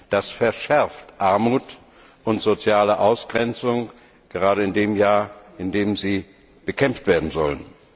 Das verschärft Armut und soziale Ausgrenzung gerade in dem Jahr, in dem sie bekämpft werden sollen.